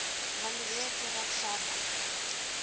evalueer voordat sarnap